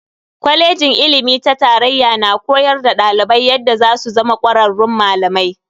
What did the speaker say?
Kwalejin ilimi ta tarayya na koyar da dalibai yadda zasu zama kwararrun malamai.